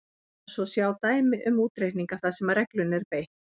Hér má svo sjá dæmi um útreikninga þar sem reglunni er beitt: